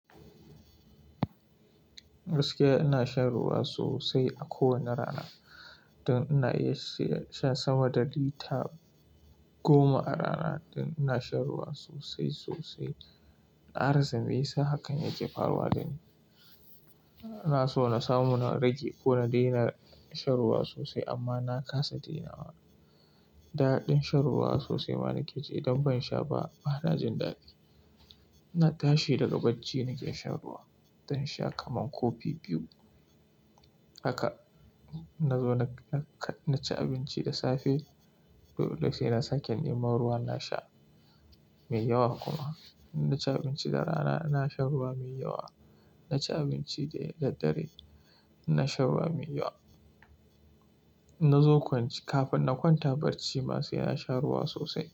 Gaskiya ina shan ruwa sosai a kowane rana. Don ina iya shan sama da lita goma a rana don ina shan ruwa sosai sosai. Na rasa meya sa hakan yake faruwa dani, ina so na samu na rage ko na daina shan ruwa sosai amma na kasa dainawa. Daɗin shan ruwa sosai ma nake ji idan ban sha ba bana jin dadi. Ina tashi daga bacci nake shan ruwa, zan sha kaman kofi biyu. Haka inna zo na ci abinci da safe, sai na sake neman ruwa na sha mai yawa kuma. Inna ci abinci da rana ina shan ruwa mai yawa na ci abinci da dare ina shan ruwa mai yawa, kafin na kwanta barci ma sai na sha ruwa sosai.